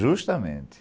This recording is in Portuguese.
Justamente.